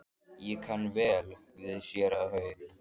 Ég kann vel við séra Hauk.